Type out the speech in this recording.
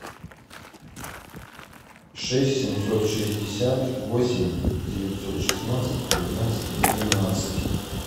шесть семьсот шестьдесят восемь девятьсот шестнадцать тринадцать двенадцать